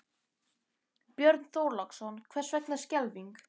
Björn Þorláksson: Hvers vegna skelfing?